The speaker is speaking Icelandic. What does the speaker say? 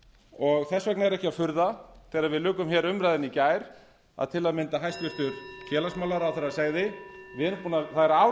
og þess vegna er ekki að furða þegar við lukum umræðunni í gær að til að mynda hæstvirts félagsmálaráðherra segði það er ár